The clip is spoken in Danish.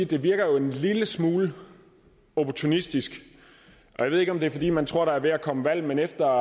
det virker en lille smule opportunistisk jeg ved ikke om det er fordi man tror der er ved at komme valg men efter